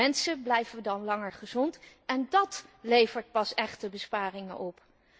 Mensen blijven dan langer gezond en dat levert pas echte besparingen op.